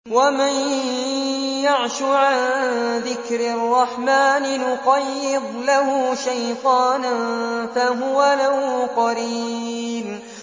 وَمَن يَعْشُ عَن ذِكْرِ الرَّحْمَٰنِ نُقَيِّضْ لَهُ شَيْطَانًا فَهُوَ لَهُ قَرِينٌ